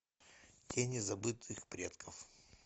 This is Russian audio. тени забытых предков